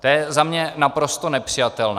To je za mě naprosto nepřijatelné.